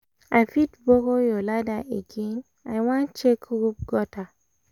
i fit borrow your ladder again? i wan check roof gutter